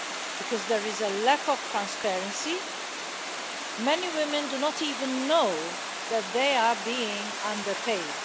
Because there is a lack of transparency, many women do not even know that they are being underpaid.